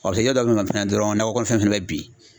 a bɛ se yɔrɔ dɔ dɔrɔn nakɔ kɔnɔ fɛn fɛnɛ bɛ bin.